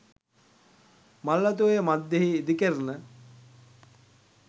මල්වතු ඔය මධ්‍යයෙහි ඉදි කෙරෙන